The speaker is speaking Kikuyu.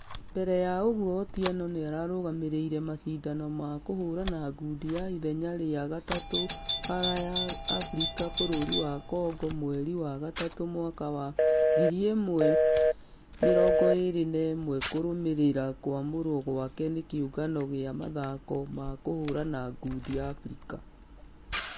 Mbere ya ũguo otieono nĩarũgamĩrĩire mashidano ma kũhũrana ngundi ma ithenya rĩa gatatũ baara ya africa bũrũri wa Congo mweri wa gatatũ mwaka wa 1021 kũrũmĩrĩra kwamũrwo gwake nĩ kĩũngano gĩa mũthako wa kũhũrana ngundi africa.